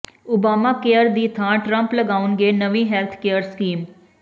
Obama care ਦੀ ਥਾਂ Trump ਲਿਆਉਣਗੇ ਨਵੀਂ ਹੈਲਥ ਕੇਅਰ ਸਕੀਮ